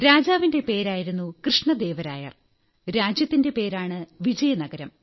രാജാവിന്റെ പേരായിരുന്നു കൃഷ്ണദേവരായർ രാജ്യത്തിന്റെ പേരാണ് വിജയനഗരം